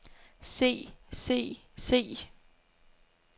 se se se